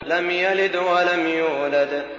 لَمْ يَلِدْ وَلَمْ يُولَدْ